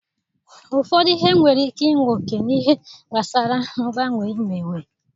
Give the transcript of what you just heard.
Ụfọdụ ihe nwere ike inwe oke n'ihe gbasara mgbanwe imewe.